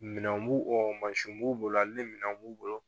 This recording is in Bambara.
Minɛn b'u mansin b'u bolo ale nin minɛn b'u bolo